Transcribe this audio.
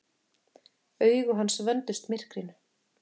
Augu hans vöndust myrkrinu.